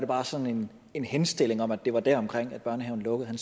var sådan en henstilling om at det var der omkring børnehaven lukkede han